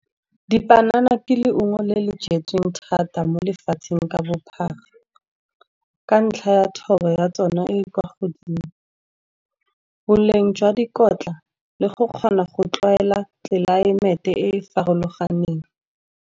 Dipanana ke leungo le le jetsweng thata mo lefatsheng ka bophara. Ka ntlha ya thobo ya tsona e e kwa godimo, boleng jwa dikotla le go kgona go tlwaela tlelaemete e e farologaneng.